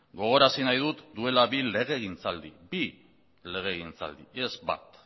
gogorazi nahi dut duela bi legegintzaldi bi legegintzaldi ez bat